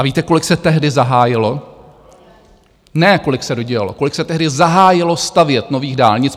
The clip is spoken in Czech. A víte, kolik se tehdy zahájilo, ne kolik se dodělalo, kolik se tehdy zahájilo stavět nových dálnic?